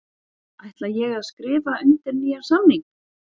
Ætla ég að skrifa undir nýjan samning?